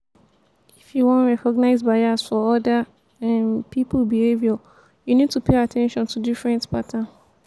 if you wan recognize bias for oda um pipo behavior you need to pay at ten tion to different pattern